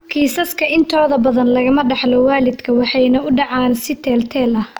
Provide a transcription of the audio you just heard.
Kiisaska intooda badan lagama dhaxlo waalidka waxayna u dhacaan si teel-teel ah.